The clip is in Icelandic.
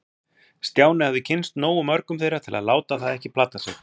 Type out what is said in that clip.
Stjáni hafði kynnst nógu mörgum þeirra til að láta það ekki plata sig.